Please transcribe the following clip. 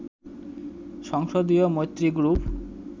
সংসদীয় মৈত্রী গ্রুপ